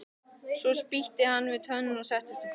Svo spýtti hann við tönn og settist á fletið.